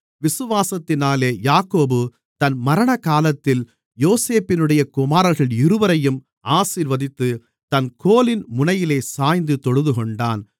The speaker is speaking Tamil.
விசுவாசத்தினாலே யாக்கோபு தன் மரணகாலத்தில் யோசேப்பினுடைய குமாரர்கள் இருவரையும் ஆசீர்வதித்து தன் கோலின் முனையிலே சாய்ந்து தொழுதுகொண்டான்